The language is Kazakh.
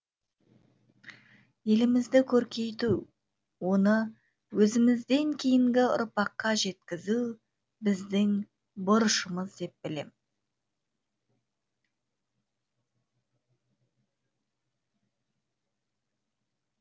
елімізді көркейту оны өзімізден кейінгі ұрпаққа жеткізу біздің борышымыз деп білем